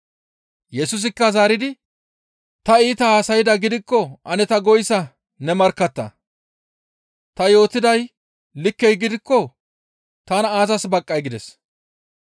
Yesusikka zaaridi, «Ta iita haasaydaa gidikko ane ta goyssa ne markkatta; Ta yootiday likke gidikko tana aazas baqqay?» gides.